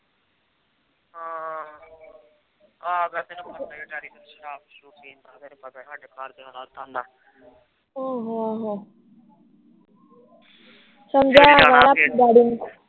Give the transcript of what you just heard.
ਉਹ ਹੋ ਹੋ